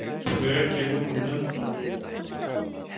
Rekin úr nefndum